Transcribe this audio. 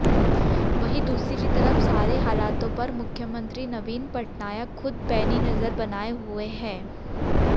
वहीं दूसरी तरफ सारे हालातों पर मुख्यमंत्री नवीन पटनायक खुद पैनी नजर बनाए हुए हैं